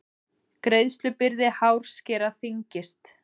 Greiðslubyrði hárskera þyngist